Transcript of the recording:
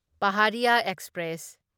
Pahariya express